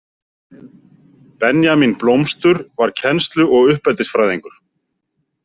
Benjamín Blómstur var kennslu- og uppeldisfræðingur.